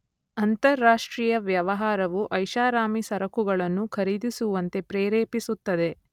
ಅಂತರಾಷ್ಟ್ರಿಯ ವ್ಯವಹಾರವು ಐಶಾರಾಮಿ ಸರಕುಗಳನ್ನು ಖರೀದಿಸುವಂತೆ ಪ್ರೆರೇಪಿಸುತ್ತದೆ.